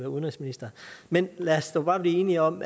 udenrigsminister men lad os dog bare blive enige om